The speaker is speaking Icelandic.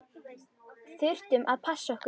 Þurftum að passa okkur.